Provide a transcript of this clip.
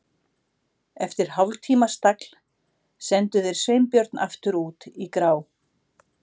Eftir hálftíma stagl sendu þeir Sveinbjörn aftur út í grá